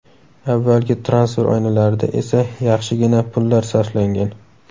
Avvalgi transfer oynalarida esa yaxshigina pullar sarflangan.